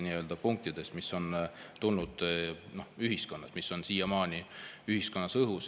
Need on tulnud ühiskonnast ja on siiamaani õhus.